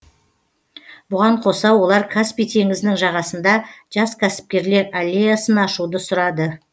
бұған қоса олар каспий теңізінің жағасында жас кәсіпкерлер аллеясын ашуды сұрады